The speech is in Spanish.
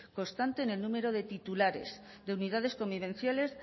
constante en el número de titulares de unidades convivenciales